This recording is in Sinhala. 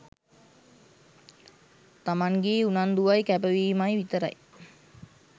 තමන්ගෙ උනන්දුවයි කැපවීමයි විතරයි.